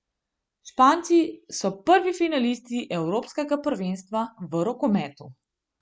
Španci so prvi finalisti evropskega prvenstva v rokometu.